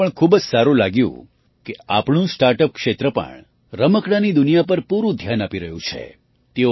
મને એ પણ ખૂબ જ સારું લાગ્યું કે આપણું સ્ટાર્ટ અપ ક્ષેત્ર પણ રમકડાંની દુનિયા પર પૂરું ધ્યાન આપી રહ્યું છે